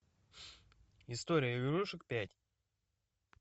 история игрушек пять